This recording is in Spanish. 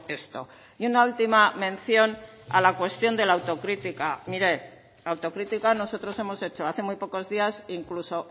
esto y una última mención a la cuestión de la autocrítica mire autocrítica nosotros hemos hecho hace muy pocos días incluso